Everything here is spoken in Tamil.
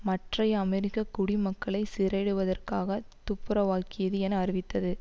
மற்றைய அமெரிக்க குடிமக்களைச் சிறையிடுவதற்காக துப்புரவாக்கியது என அறிவித்தது